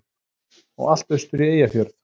Og allt austur í Eyjafjörð.